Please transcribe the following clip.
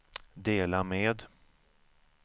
dela med